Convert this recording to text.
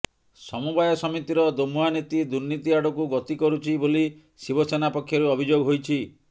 ସମବାୟ ସମିତିର ଦୋମୁହା ନୀତି ଦୁର୍ନୀତି ଆଡ଼କୁ ଗତି କରୁଛି ବୋଲି ଶିବ ସେନା ପକ୍ଷରୁ ଅଭିଯୋଗ ହୋଇଛି